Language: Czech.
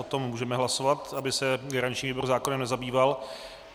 O tom můžeme hlasovat, aby se garanční výbor zákonem nezabýval.